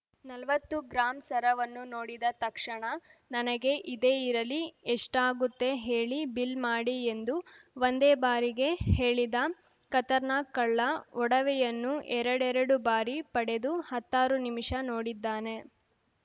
ನಲ್ವತ್ತು ಗ್ರಾಂ ಸರವನ್ನು ನೋಡಿದ ತಕ್ಷಣ ನನಗೆ ಇದೇ ಇರಲಿ ಎಷ್ಟಾಗುತ್ತೆ ಹೇಳಿ ಬಿಲ್‌ ಮಾಡಿ ಎಂದು ಒಂದೇ ಬಾರಿಗೆ ಹೇಳಿದ ಖತರ್‌ನಾಕ್‌ ಕಳ್ಳ ಒಡವೆಯನ್ನು ಎರಡೆರಡು ಬಾರಿ ಪಡೆದು ಹತ್ತಾರು ನಿಮಿಷ ನೋಡಿದ್ದಾನೆ